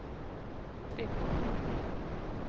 tripp